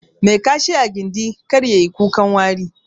Mai Kashi a gindi, kar yayi kukan wari.